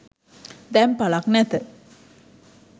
දැන් පලක් නැත.